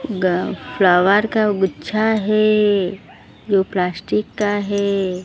गा फ्लावर का गुच्छा है जो प्लास्टिक का है।